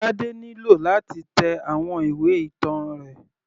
Tade nílò láti tẹ àwọn ìwé ìtàn rẹ̀.